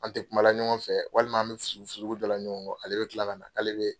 An tɛ kuma la ɲɔgɔn fɛ walima an bɛ furugu furugu dɔ la ɲɔgɔn kɔ. Ale bɛ kila ka na k'ale bɛ